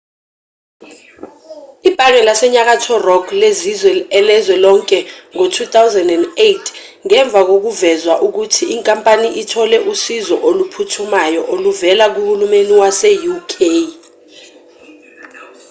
ibhange lasenyakatho rock lenziwe elezwe lonke ngo-2008 ngemva kokuvezwa ukuthi inkampani ithole usizo oluphuthumayo oluvela kuhulumeni wase-uk